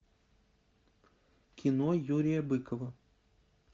кино юрия быкова